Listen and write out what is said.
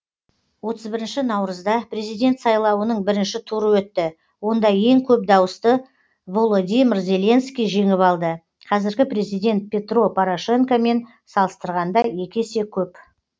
отыз бірінші наурызда президент сайлауының бірінші туры өтті онда ең көп дауысты володимир зеленский жеңіп алды қазіргі президент петро порошенко мен салыстырғанда екі есе көп